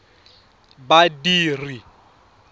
badiri